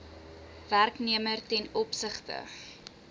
werknemer ten opsigte